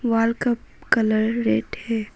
Wall का colour red है।